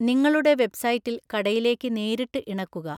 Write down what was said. നിങ്ങളുടെ വെബ്സൈറ്റില്‍ കടയിലേക്ക് നേരിട്ട് ഇണക്കുക.